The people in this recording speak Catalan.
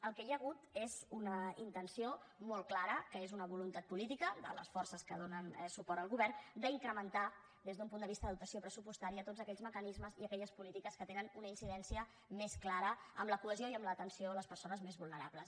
el que hi ha hagut és una intenció molt clara que és una voluntat política de les forces que donen suport al govern d’incrementar des d’un punt de vista de dotació pressupostària tots aquells mecanismes i aquelles polítiques que tenen una incidència més clara en la cohesió i en l’atenció a les persones més vulnerables